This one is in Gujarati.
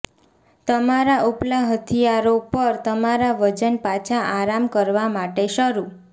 તમારા ઉપલા હથિયારો પર તમારા વજન પાછા આરામ કરવા માટે શરૂ